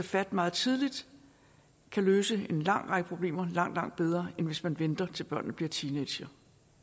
fat meget tidligt kan løse en lang række problemer langt langt bedre end hvis man venter til børnene bliver teenagere